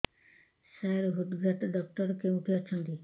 ସାର ହୃଦଘାତ ଡକ୍ଟର କେଉଁଠି ଅଛନ୍ତି